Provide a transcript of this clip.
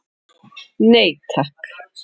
Nei takk.